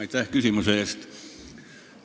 Aitäh küsimuse eest!